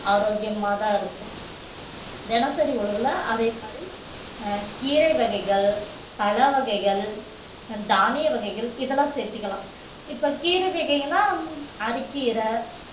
ஆரோக்கியமாதான் இருக்கும் தினசரி உணவுல அதே மாதிரி அஹ் கீரை வகைகள், பழ வகைகள், தானிய வகைகள் இதெல்லாம் சேர்த்துக்கலாம் இப்ப கீரை வகைன்னா அரக்கீரை